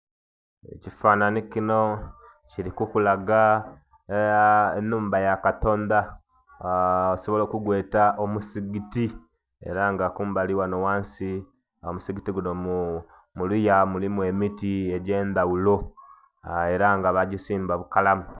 Ekifanhanhi kino kiri kukulaga aah.. enhumba yakatonda aah osobola okugweta omusigiti era nga kumbali ghano ghansi ogh'omusigiti guno muluya mulimu emiti egyendhaghulo era nga bajisimba bukalamu.